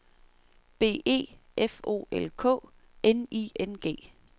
B E F O L K N I N G